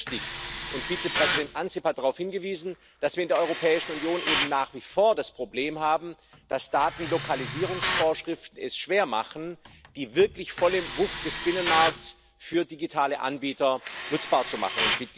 Denn es ist richtig und Vizepräsident Ansip darauf hingewiesen dass wir in der Europäischen Union eben nach wie vor das Problem haben, dass Datenlokalisierungsvorschriften es schwer machen, die wirklich volle Wucht des Binnenmarkts für digitale Anbieter nutzbar zu machen.